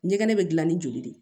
Ɲɛgɛn bɛ dilan ni joli de ye